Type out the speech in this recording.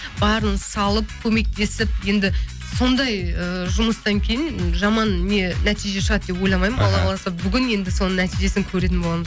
барын салып көмектесіп енді сондай ыыы жұмыстан кейін жаман не нәтиже шығады деп ойламаймын алла қаласа бүгін енді соның нәтижесін көретін боламын